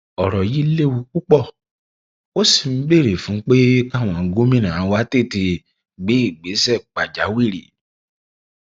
ọrọ yìí léwu púpọ ó sì ń béèrè fún pé káwọn gómìnà wa tètè gbé ìgbésẹ pàjáwìrì